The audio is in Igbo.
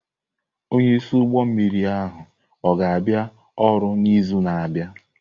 Onye isi ụgbọ mmiri ahụ ọ ga-abịa ọrụ n'izu na-abịa?